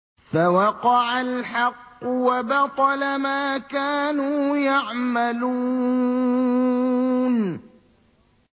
فَوَقَعَ الْحَقُّ وَبَطَلَ مَا كَانُوا يَعْمَلُونَ